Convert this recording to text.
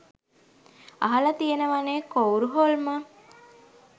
අහල තියෙනවනෙ කොවුර් හොල්මන්